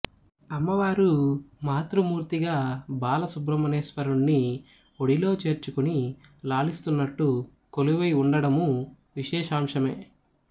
అమ్మవారు మాతృమూర్తిగా బాల సుబ్రహ్మణ్యేశ్వరుణ్ణి ఒడిలో చేర్చుకుని లాలిస్తూన్నట్టు కొలువై ఉండడమూ విశేషాంశమే